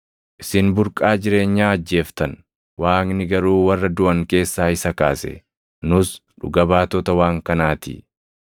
Isin burqaa jireenyaa ajjeeftan; Waaqni garuu warra duʼan keessaa isa kaase; nus dhuga baatota waan kanaa ti.